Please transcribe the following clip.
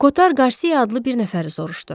Kotar Qarsia adlı bir nəfəri soruşdu.